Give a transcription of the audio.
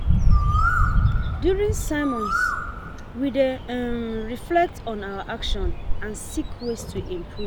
During sermons, we dey um reflect on our actions and seek ways to improve.